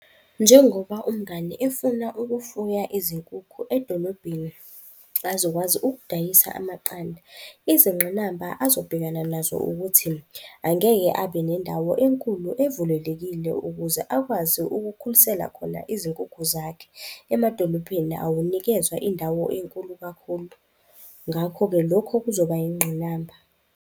Njengoba umngani efuna ukufuya izinkukhu edolobheni azokwazi ukudayisa amaqanda, izinqinamba azobhekana nazo ukuthi, angeke abe nendawo enkulu evulelekile ukuze akwazi ukukhulisela khona izinkukhu zakhe. Emadolophini awunikezwa indawo enkulu kakhulu, ngakho-ke lokho kuzoba yingqinamba.